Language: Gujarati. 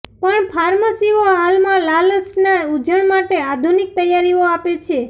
પણ ફાર્મસીઓ હાલમાં લાલાશ ના ઉંજણ માટે આધુનિક તૈયારીઓ આપે છે